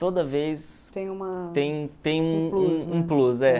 Toda vez... tem uma... tem tem um um plus. É.